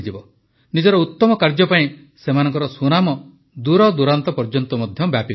ନିଜର ଉତ୍ତମ କାର୍ଯ୍ୟ ପାଇଁ ସେମାନଙ୍କର ସୁନାମ ଦୂରଦୂରାନ୍ତ ପର୍ଯ୍ୟନ୍ତ ବ୍ୟାପିଗଲାଣି